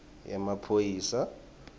yemaphoyisa